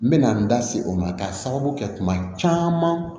N bɛ na n da se o ma ka sababu kɛ kuma caman